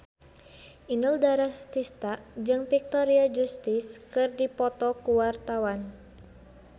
Inul Daratista jeung Victoria Justice keur dipoto ku wartawan